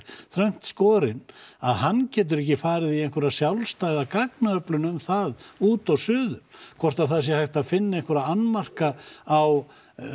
þröngt skorinn að hann getur ekki farið í einhverja sjálfstæða gagnaöflun um það út og suður hvort hægt sé að finna einhverja annmarka á